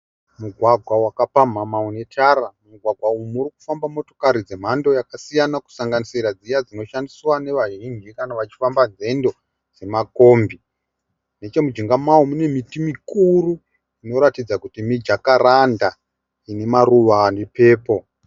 Mugwagwa wakapamhamha une tara. Mugwagwa unofamba motokari dzemhando yakasiyana kusanganisira dziya dzinoshandiswa nevazhinji kana vachifamba nzendo nemakombi. Nechemujinga mao mune miti mikuru inoratidza kuti mijakaranda ine maruva ane purple.